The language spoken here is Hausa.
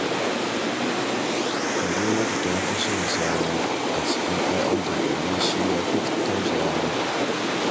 Karimatu ta fi son Sani a cikin ‘ya’yanta, domin shi ya fi tausaya mata